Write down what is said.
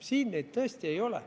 Siin neid tõesti ei ole.